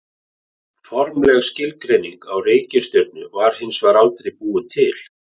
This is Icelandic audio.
Formleg skilgreining á reikistjörnu var hins vegar aldrei búin til.